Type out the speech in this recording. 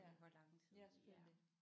Ja ja selvfølgelig